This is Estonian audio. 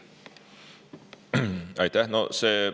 Aitäh!